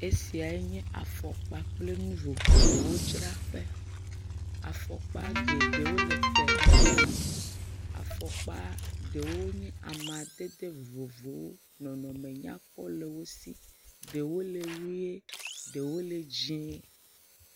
Esia enye afɔkpa kple nu vovovowo dzra ƒe, afɔkpa, afɔkpa ɖewo nye amaɖeɖe vovovowo nɔnɔme nyakpɔ le wo si, ɖewo le ɣie, ɖewo le dzii.